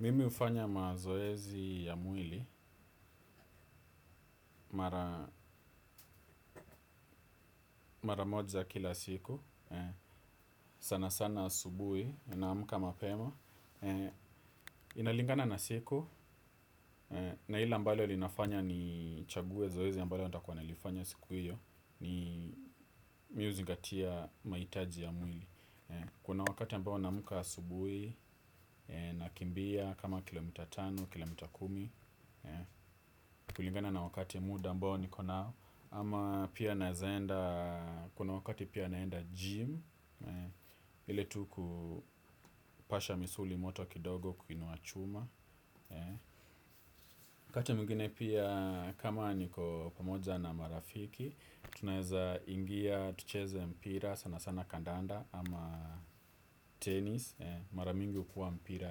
Mimi hufanya mazoezi ya mwili mara moja kila siku, sana sana asubuhi naamka mapema. Inalingana na siku na lile ambalo linafanya nichague zoezi ambalo nitakuwa nalifanya siku hiyo ni mimi huzingatia mahitaji ya mwili. Kuna wakati ambao nafika asubuhi nakimbia kama kilomita tano kilomita kumi kulingana na wakati muda ambao niko nao ama pia naeza enda, kuna wakati pia naenda jimu hili tu kupasha misuli moto kidogo kuinua chuma wakati mwingine pia kama niko pamoja na marafiki. Tunaeza ingia tucheze mpira sana sana kandanda ama tenis, mara mingi hukuwa mipira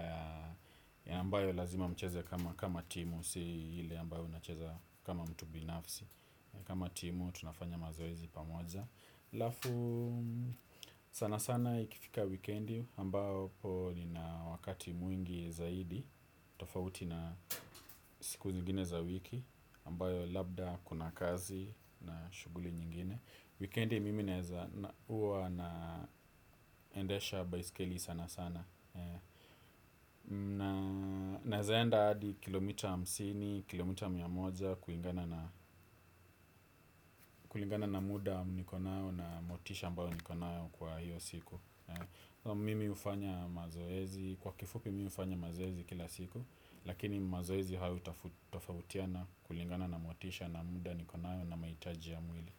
ya ambayo lazima mcheze kama timu ile ambayo unacheza kama mtu binafsi kama timu tunafanya mazoezi pamoja alafu sana sana ikifika wikendi ambapo nina wakati mwingi zaidi tofauti na siku nyingine za wiki ambayo labda kuna kazi na shughuli nyingine wikendi mimi huwa naendesha baiskeli sana sana naeza enda hadi kilomita hamsini kilomita mia moja kulingana na muda nikonao na motisha ambayo nikonayo kwa hiyo siku mimi hufanya mazoezi kwa kifupi mimi hufanya mazoezi kila siku lakini mazoezi hayo hutofautiana kulingana na motisha na muda nikonayo na mahitaji ya mwili.